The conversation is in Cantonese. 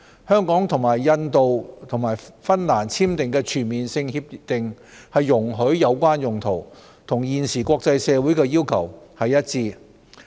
香港與印度及芬蘭簽訂的全面性協定容許有關用途，與現時國際社會的要求一致。